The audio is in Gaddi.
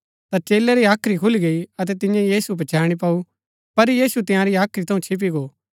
ता चेलै री हाख्री खुली गई अतै तियें यीशु पछैणी पैऊ पर यीशु तिंआरी हाख्री थऊँ छिप्‍पी गो